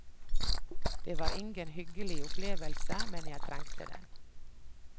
Det var ingen hyggelig opplevelse, men jeg trengte den.